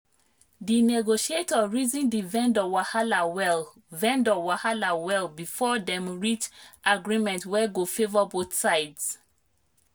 the negotiator reason the vendor wahala well vendor wahala well before dem reach agreement wey go favour both sides.